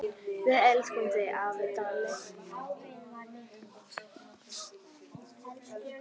Við elskum þig, afi Dalli.